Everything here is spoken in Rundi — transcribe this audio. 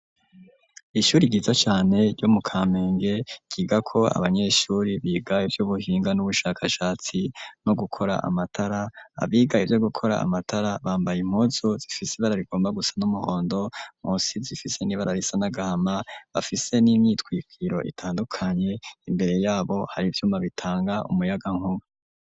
Ishuri ryiza cane ryo mu Kamenge, ryigako abanyeshuri biga ivy'ubuhinga n'ubushakashatsi, no gukora amatara; abiga ivyo gukora amatara, bambaye impuzu zifise ibara rigomba gusa n'umuhondo, munsi zifise n'ibara risa n'agahama bafise n'imyitwikiro itandukanye, imbere y'abo hari ivyuma bitanga umuyagankuba.